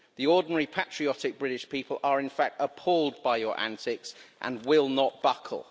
The ordinary patriotic British people are, in fact, appalled by your antics and will not buckle.